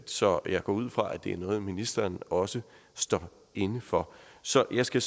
så jeg går ud fra at det er noget ministeren også står inde for så jeg skal